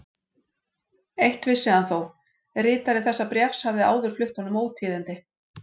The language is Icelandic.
Eitt vissi hann þó: ritari þessa bréfs hafði áður flutt honum ótíðindi.